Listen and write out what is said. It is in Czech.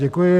Děkuji.